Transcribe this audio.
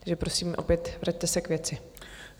Takže prosím opět, vraťte se k věci.